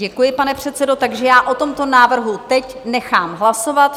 Děkuji, pane předsedo, takže já o tomto návrhu teď nechám hlasovat.